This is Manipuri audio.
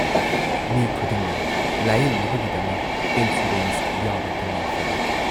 ꯃꯤ ꯈꯨꯗꯤꯡꯅ ꯂꯥꯌꯦꯡꯅꯕꯒꯤꯗꯃꯛ ꯏꯟꯁꯨꯔꯦꯟꯁ ꯌꯥꯎꯕ ꯇꯉꯥꯏꯐꯗꯕ ꯑꯣꯏ ꯫